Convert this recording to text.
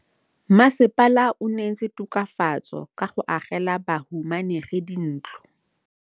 Mmasepala o neetse tokafatsô ka go agela bahumanegi dintlo.